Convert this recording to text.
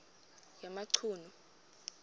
yamachunu